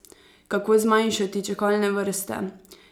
Kako zmanjšati čakalne vrste?